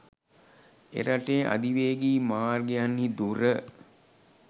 එරටේ අධිවේගී මාර්ගයන්හි දුර